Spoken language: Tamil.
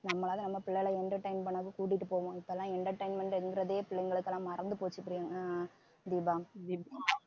நம்மளால நம்ம பிள்ளைகள entertain பண்ணாலும் கூட்டிட்டு போவோம் இப்பெல்லாம் entertainment ங்கிறதே பிள்ளைங்களுக்கு எல்லாம் மறந்து போச்சு பிரியங்~ அஹ் தீபா